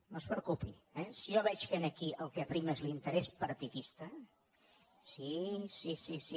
no es preocupi eh si jo veig que aquí el que prima és l’interès partidista sí sí sí sí